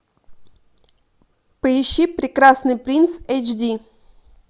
поищи прекрасный принц эйч ди